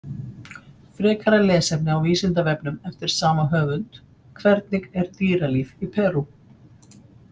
Frekara lesefni á Vísindavefnum eftir sama höfund: Hvernig er dýralíf í Perú?